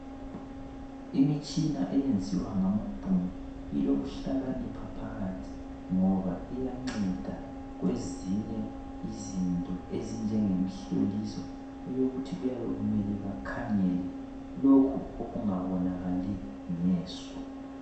Imitshina eyenziwa ngamabhunu iloluhlakanipha phakathi ngoba iyanceda kwezinye izinto ezinjengemihloliso. Eyokuthi kuyabe kumele bakhangele lokhu okungabonakali ngeso.